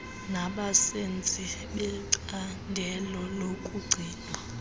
nabasenzi becandelo lokugcinwa